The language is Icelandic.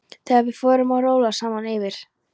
Þegar við fórum að róla saman yfir